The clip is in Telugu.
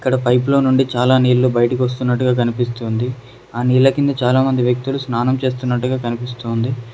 ఇక్కడ పైప్ చాలా నీళ్లు బయటకు వస్తున్నట్టుగా కనిపిస్తుంది ఆ నీళ్ల కింద చాలా మంది వ్యక్తులు స్నానం చేస్తున్నట్టుగా కనిపిస్తోంది.